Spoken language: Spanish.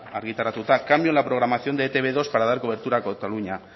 argitaratuta cambio en la programación de e te be dos para dar cobertura cataluña